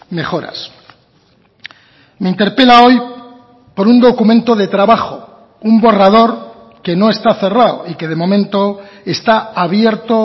mejoras me interpela hoy por un documento de trabajo un borrador que no está cerrado y que de momento está abierto